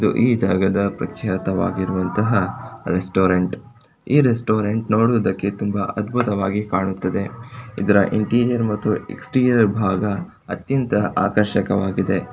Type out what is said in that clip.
ಈ ಜಾಗವು ಪ್ರತ್ಯೇಕವಾಗಿರುವಂತ ರೆಸ್ಟೋರೆಂಟ್ ಈ ರೆಸ್ಟೋರೆಂಟ್ ನೋಡುವುದಕ್ಕೆ ತುಂಬಾ ಅದ್ಭುತವಾಗಿ ಕಾಣುತ್ತದೆ ಇದರ ಇಂಟೀರಿಯರ್ ಮತ್ತು ಎಕ್ಸ್ಪೀರಿಯರ್ ಭಾಗ ಅತ್ಯಂತ ಆಕರ್ಷಕವಾಗಿದೆ.